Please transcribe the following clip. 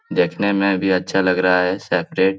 देखने में भी अच्छा लग रहा है सेपरेट ।